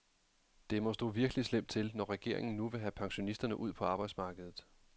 Det må stå virkelig slemt til, når regeringen nu vil have pensionisterne ud på arbejdsmarkedet.